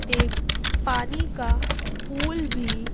एक पानी का पूल भी--